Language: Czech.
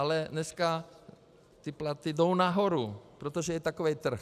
Ale dneska ty platy jdou nahoru, protože je takový trh.